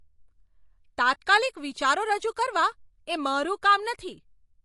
તાત્કાલિક વિચારો રજૂ કરવા એ મારું કામ નથી.